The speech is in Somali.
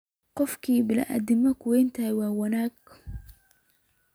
Qofki biniadamu kuwenthy wa wanag.